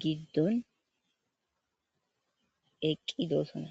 giddonni eqqidosona.